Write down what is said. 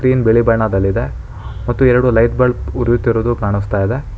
Screen ಬಿಳಿ ಬಣ್ಣದಲ್ಲಿದೆ ಮತ್ತು ಎರಡು ಲೈಟ್ ಬಲ್ಬ್ ಉರಿಯುತ್ತಿರುವುದು ಕಾಣಸ್ತಾ ಇದೆ.